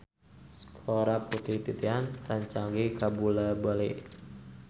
Sora Putri Titian rancage kabula-bale